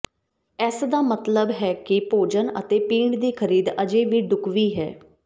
ਇਸਦਾ ਮਤਲਬ ਹੈ ਕਿ ਭੋਜਨ ਅਤੇ ਪੀਣ ਦੀ ਖਰੀਦ ਅਜੇ ਵੀ ਢੁਕਵੀਂ ਹੈ